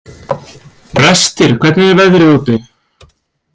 Brestir, hvernig er veðrið úti?